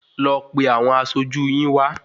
Lọ pe àwọn aṣojú yín wá